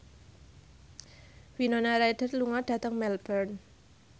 Winona Ryder lunga dhateng Melbourne